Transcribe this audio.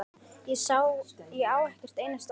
Ég á ekkert einasta orð.